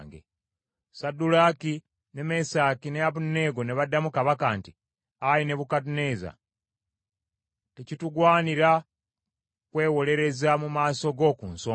Saddulaaki, ne Mesaki ne Abeduneego ne baddamu kabaka nti, “Ayi Nebukadduneeza, tekitugwanira kwewolereza mu maaso go ku nsonga eyo.